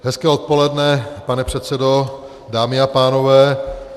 Hezké odpoledne, pane předsedo, dámy a pánové.